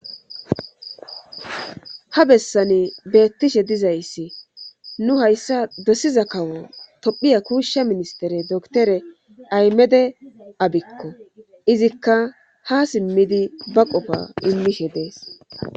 Ha bessani beettishe dizayssi nu hayssa dosiza kawo tophiya kuushsha ministere doktore aymede abikko izikka ha simmidi ba qofa immishe dees